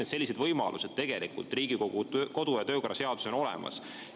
Kõik sellised võimalused on tegelikult Riigikogu kodu- ja töökorra seaduses olemas.